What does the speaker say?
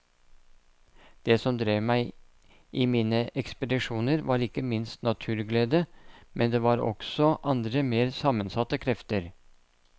Det som drev meg i mine ekspedisjoner var ikke minst naturglede, men det var også andre mer sammensatte krefter.